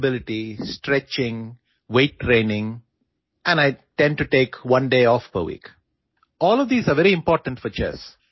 flexibility stretching ഭാരമുയർത്തൽ പരിശീലനം എന്നിവയിലും ശ്രദ്ധ കേന്ദ്രീകരിക്കുന്നു കൂടാതെ ആഴ്ചയിൽ ഒരു ദിവസം അവധി എടുക്കാറുണ്ട്